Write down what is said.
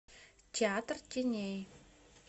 театр теней